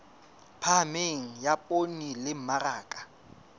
phahameng ya poone le mmaraka